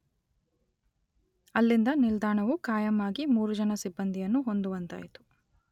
ಅಲ್ಲಿಂದ ನಿಲ್ದಾಣವು ಕಾಯಂ ಆಗಿ ಮೂರು ಜನ ಸಿಬ್ಬಂದಿಯನ್ನು ಹೊಂದುವಂತಾಯಿತು.